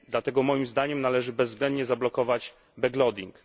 Dlatego moim zdaniem należy bezwzględnie zablokować backloading